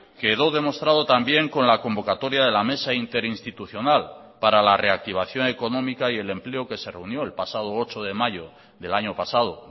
quedó demostrado también con la convocatoria de la mesa interinstitucional para la reactivación económica y el empleo que se reunió el pasado ocho de mayo del año pasado